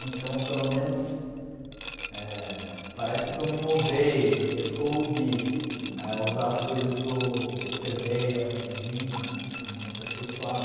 Então, pelo menos eh, parece que eu me moldei, que eu soube é usar as coisas que eu observei e aprendi né a me aperfeiçoar.